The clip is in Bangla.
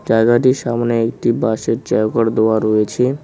জায়গাটি সামনে একটি বাঁশের দেওয়া রয়েছে।